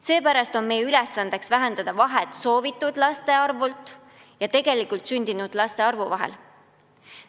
Seepärast on meie ülesanne vähendada vahet soovitud laste arvu ja tegelikult sündinud laste arvu vahel.